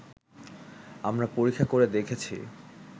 আমরা পরীক্ষা করে দেখেছি